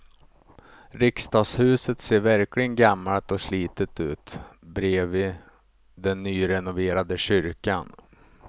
Riksdagshuset ser verkligen gammalt och slitet ut bredvid den nyrenoverade kyrkan.